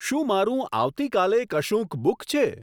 શું મારું આવતીકાલે કશુંક બુક છે